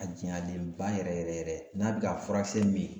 A jayalen ba yɛrɛ yɛrɛ yɛrɛ yɛrɛ n'a bɛ ka furasɛn min